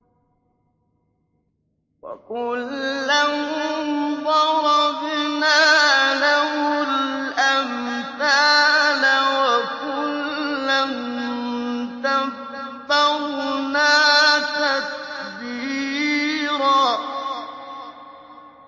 وَكُلًّا ضَرَبْنَا لَهُ الْأَمْثَالَ ۖ وَكُلًّا تَبَّرْنَا تَتْبِيرًا